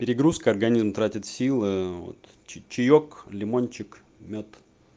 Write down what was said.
перегрузка организм тратит силы вот чаёк лимончик мёд